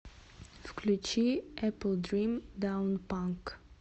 включи эплдрим даунпанк